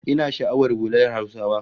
Ina sha'awar hular Hausawa